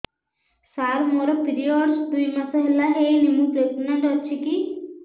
ସାର ମୋର ପିରୀଅଡ଼ସ ଦୁଇ ମାସ ହେଲା ହେଇନି ମୁ ପ୍ରେଗନାଂଟ ଅଛି କି